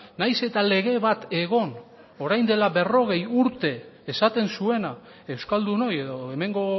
nahiz eta lege bat egon orain dela berrogei urte esaten zuena euskaldunoi edo hemengo